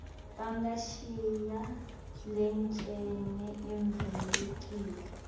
bangashiya lencenye ivulekile